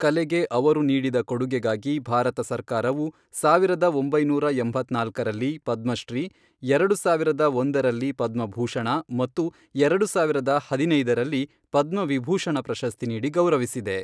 ಕಲೆಗೆ ಅವರು ನೀಡಿದ ಕೊಡುಗೆಗಾಗಿ ಭಾರತ ಸರ್ಕಾರವು, ಸಾವಿರದ ಒಂಬೈನೂರ ಎಂಬತ್ನಾಲ್ಕರಲ್ಲಿ ಪದ್ಮಶ್ರೀ, ಎರಡು ಸಾವಿರದ ಒಂದರಲ್ಲಿ ಪದ್ಮಭೂಷಣ ಮತ್ತು ಎರಡು ಸಾವಿರದ ಹದಿನೈದರಲ್ಲಿ ಪದ್ಮವಿಭೂಷಣ ಪ್ರಶಸ್ತಿ ನೀಡಿ ಗೌರವಿಸಿದೆ.